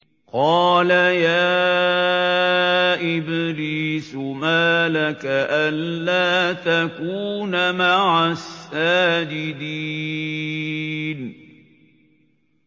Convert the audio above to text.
قَالَ يَا إِبْلِيسُ مَا لَكَ أَلَّا تَكُونَ مَعَ السَّاجِدِينَ